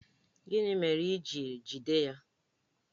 Gịnị mere i ji jide ya?